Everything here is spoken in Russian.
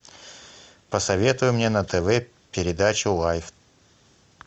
посоветуй мне на тв передачу лайф